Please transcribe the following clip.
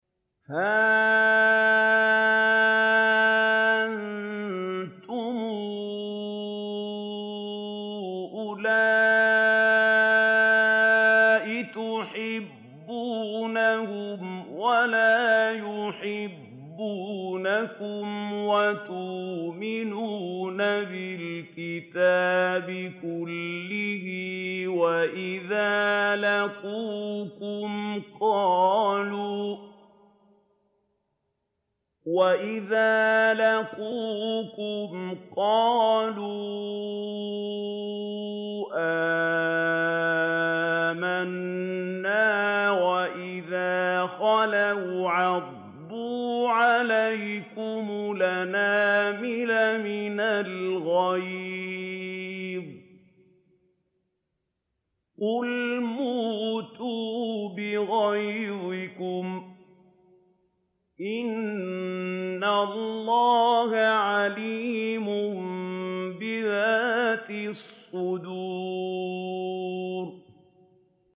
هَا أَنتُمْ أُولَاءِ تُحِبُّونَهُمْ وَلَا يُحِبُّونَكُمْ وَتُؤْمِنُونَ بِالْكِتَابِ كُلِّهِ وَإِذَا لَقُوكُمْ قَالُوا آمَنَّا وَإِذَا خَلَوْا عَضُّوا عَلَيْكُمُ الْأَنَامِلَ مِنَ الْغَيْظِ ۚ قُلْ مُوتُوا بِغَيْظِكُمْ ۗ إِنَّ اللَّهَ عَلِيمٌ بِذَاتِ الصُّدُورِ